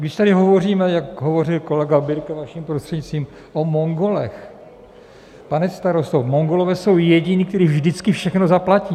Když tady hovoříme, jak hovořil kolega Birke, vaším prostřednictvím, o Mongolech, pane starosto, Mongolové jsou jediní, kteří vždycky všechno zaplatí.